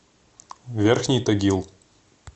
верхний тагил